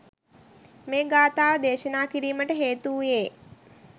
මේ ගාථාව දේශනා කිරීමට හේතු වූයේ